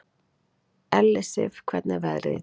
Ellisif, hvernig er veðrið í dag?